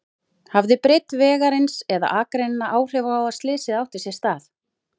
Hafði breidd vegarins eða akreinanna áhrif á að slysið átti sér stað?